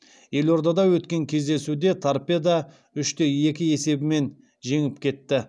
елордада өткен кездесуде торпедо үш те екі есебімен жеңіп кетті